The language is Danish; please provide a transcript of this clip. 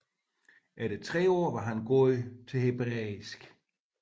Efter tre år var han god til hebræisk